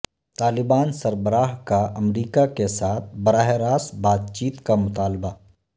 طالبان سربراہ کا امریکہ کے ساتھ براہ راست بات چیت کا مطالبہ